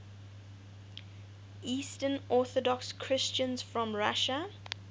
eastern orthodox christians from russia